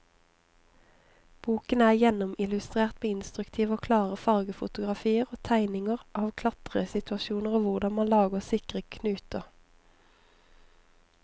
Boken er gjennomillustrert med instruktive og klare fargefotografier og tegninger av klatresituasjoner og hvordan man lager sikre knuter.